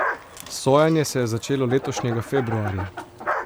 Sojenje se je začelo letošnjega februarja.